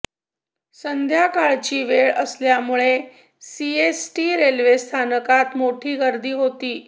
संध्याकाळची वेळ असल्यामुळे सीएसटी रेल्वे स्थानकात मोठी गर्दी होती